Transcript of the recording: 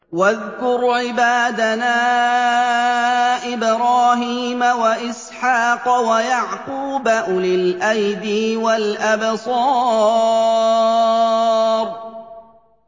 وَاذْكُرْ عِبَادَنَا إِبْرَاهِيمَ وَإِسْحَاقَ وَيَعْقُوبَ أُولِي الْأَيْدِي وَالْأَبْصَارِ